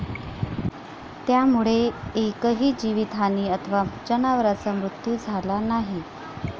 त्यामुळे एकही जीवितहानी अथवा जनावराचा मृत्यू झाला नाही.